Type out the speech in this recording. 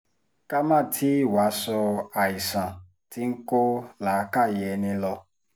ká má tì í wàá sọ àìsàn tí ń kó làákàyè ẹni lọ